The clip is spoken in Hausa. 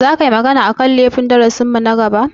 Za ka yi magana a kan laifukan yaƙi a darasin mu na gaba?